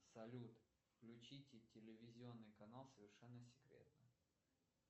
салют включите телевизионный канал совершенно секретно